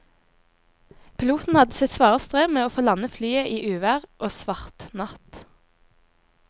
Piloten hadde sitt svare strev med å få landet flyet i uvær og svart natt.